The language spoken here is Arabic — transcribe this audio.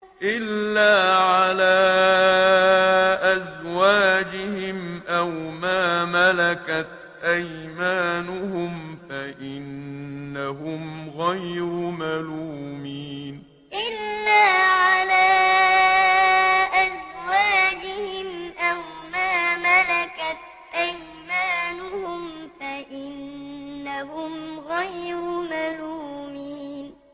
إِلَّا عَلَىٰ أَزْوَاجِهِمْ أَوْ مَا مَلَكَتْ أَيْمَانُهُمْ فَإِنَّهُمْ غَيْرُ مَلُومِينَ إِلَّا عَلَىٰ أَزْوَاجِهِمْ أَوْ مَا مَلَكَتْ أَيْمَانُهُمْ فَإِنَّهُمْ غَيْرُ مَلُومِينَ